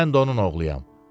Mən də onun oğluyam.